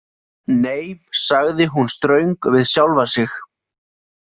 Nei, sagði hún ströng við sjálfa sig.